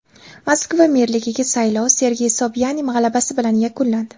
Moskva merligiga saylov Sergey Sobyanin g‘alabasi bilan yakunlandi.